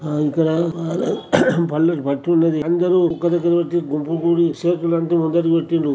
ఆ ఇక్కడ అందరూ ఒక దగ్గర పట్టి గుంపు గూడి చేతులంటిని ముందటికి పెట్టిర్రు.